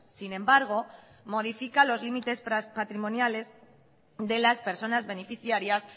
sin embargo modifica los límites patrimoniales de las personas beneficiarias